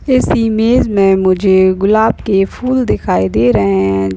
इस इमेज में मुझे गुलाब के फूल दिखाई दे रहे हैं।